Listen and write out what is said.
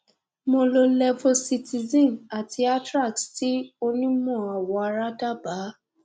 mo lo levocitizine àti atrax tí onímọ awọ ara dábaa